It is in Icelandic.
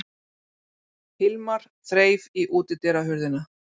Hilmar þreif í útidyrahurðina.